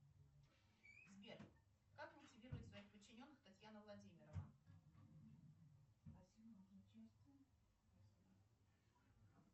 афина переведи деньги коллеге по работе анастасии